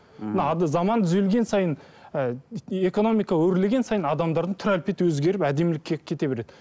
мына заман түзелген сайын і экономика өрлеген сайын адамдардың түр әлпеті өзгеріп әдемілікке кете береді